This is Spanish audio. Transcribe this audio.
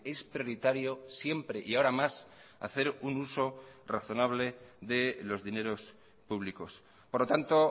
es prioritario siempre y ahora más hacer un uso razonable de los dineros públicos por lo tanto